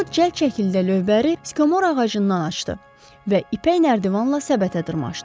Co cəld şəkildə lövbəri skomora ağacından açdı və ipək nərdivanla səbətə dırmaşdı.